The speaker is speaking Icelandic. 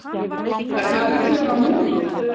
Er það líklegra núna?